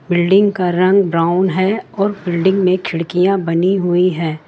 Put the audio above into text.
Building का रंग brown है और बिल्डिंग में खिड़कियां बनी हुई है।